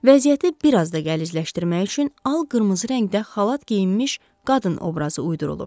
Vəziyyəti biraz da gəlizləşdirmək üçün al-qırmızı rəngdə xalat geyinmiş qadın obrazı uydurulub.